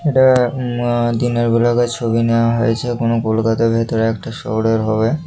এটা উ- আ- দিনের বেলাকার ছবি নেওয়া হয়েছে। কোন কলকাতার ভিতরের একটা শহরের হবে।